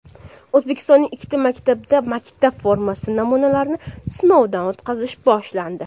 O‘zbekistonning ikkita maktabida maktab formasi namunalarini sinovdan o‘tkazish boshlandi.